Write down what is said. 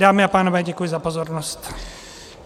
Dámy a pánové, děkuji za pozornost.